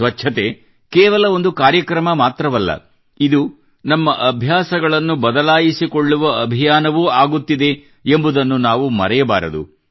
ಸ್ವಚ್ಛತೆ ಕೇವಲ ಒಂದು ಕಾರ್ಯಕ್ರಮ ಮಾತ್ರವಲ್ಲ ಇದು ನಮ್ಮ ಅಭ್ಯಾಸಗಳನ್ನು ಬದಲಾಯಿಸಿಕೊಳ್ಳುವ ಅಭಿಯಾನವೂ ಆಗುತ್ತಿದೆ ಎಂಬುದನ್ನು ನಾವು ಮರೆಯಬಾರದು